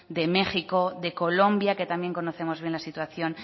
de méjico de colombia que también conocemos bien la situación